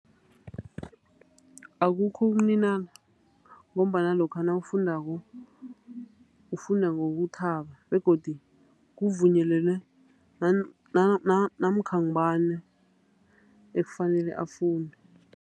Akukho ukuninana ngombana lokha nawufundako ufunda ngokuthaba begodi kuvunyelelwe namkha ngubani ekufanele afunde.